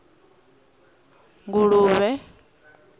nguluvhe